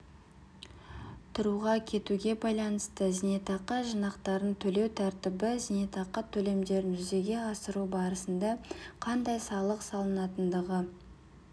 тұруға кетуге байланысты зейнетақы жинақтарын төлеу тәртібі зейнетақы төлемдерін жүзеге асыру барысында қандай салық салынатындығы